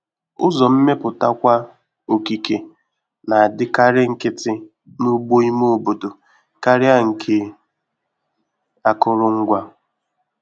Ụzọ mmeputakwa okike na-adịkarị nkịtị n'ugbo ime obodo karịa nke akụrụngwa.